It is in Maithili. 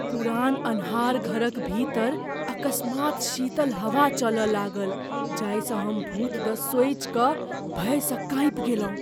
पुरान आन्हर घरक भीतर अकस्मात् शीतल हवा चलय लागल, जाहिसँ हम भूत द सोचि कऽ भयसँ काँपि गेलहुँ।